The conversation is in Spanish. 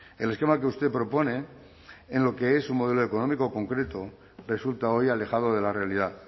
el esquema que usted propone en lo que es un modelo económico concreto resulta hoy alejado de la realidad